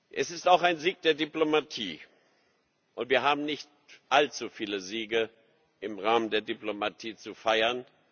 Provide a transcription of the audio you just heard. Es ist auch ein Sieg der Diplomatie, und wir haben nicht allzu viele Siege im Rahmen der Diplomatie zu feiern.